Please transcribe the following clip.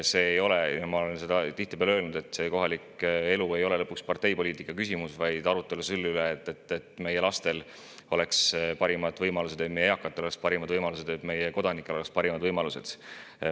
Ma olen tihtipeale öelnud, et kohalik elu ei ole lõpuks parteipoliitika küsimus, vaid see on arutelu selle üle, kuidas meie lastel oleks parimad võimalused, kuidas meie eakatel oleks parimad võimalused, kuidas meie kodanikel oleks parimad võimalused.